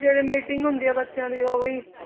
ਜਿਹੜੀ meeting ਹੁੰਦੀ ਹੈ ਬੱਚਿਆਂ ਦੀ ਉਹ ਵੀ